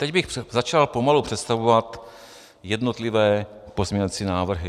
Teď bych začal pomalu představovat jednotlivé pozměňovací návrhy.